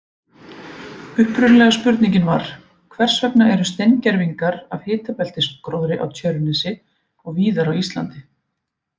Upprunalega spurningin var: Hvers vegna eru steingervingar af hitabeltisgróðri á Tjörnesi og víðar á Íslandi?